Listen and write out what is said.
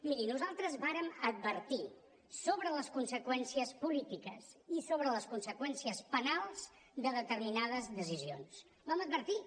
miri nosaltres vàrem advertir sobre les conseqüències polítiques i sobre les conseqüències penals de determinades decisions ho vam advertir